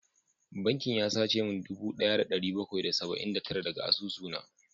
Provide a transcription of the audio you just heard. Bankin ya sace min dubu daya da dari bakwai da saba’in da tara daga asusuna